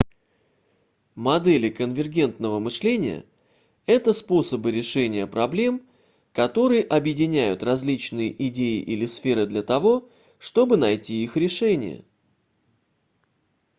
модели конвергентного мышления это способы решения проблем которые объединяют различные идеи или сферы для того чтобы найти их решение